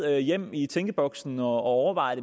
hjem i tænkeboksen og overveje